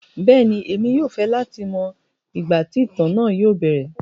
Bẹẹni, emi yóò fẹ lati mọ igba ti itan naa yóò bẹrẹ.